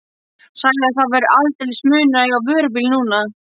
Sagði að það væri aldeilis munur að eiga vörubíl núna.